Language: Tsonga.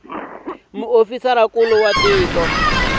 muofisirinkulu wa tiko hinkwaro hi